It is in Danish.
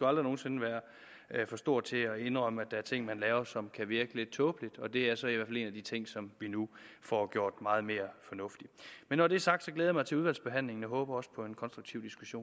aldrig nogen sinde være for stor til at indrømme at der er ting man laver som kan virke lidt tåbelige og det er så i hvert fald en af de ting som vi nu får gjort meget mere fornuftig når det er sagt jeg glæder mig til udvalgsbehandlingen og håber også på en konstruktiv diskussion